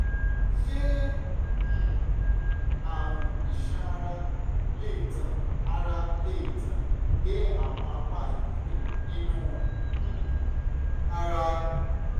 ṣé um àrùn iṣan ara lè tàn ara lè tàn dé àwọn apá ibòmíì nínú um ara?